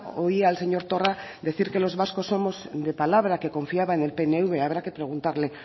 oía al señor torra decir que los vascos somos de palabra que confiaba en el pnv habrá que preguntarle